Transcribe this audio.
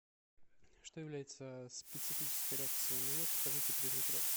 что является специфической реакцией на йод укажите признак реакции